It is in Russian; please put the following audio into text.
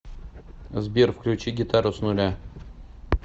сбер включи гитару с нуля